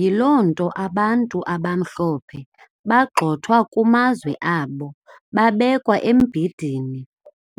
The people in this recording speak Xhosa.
Yilonto abantu abamhlophe bagxothwa kumazwe abo babekwa embindini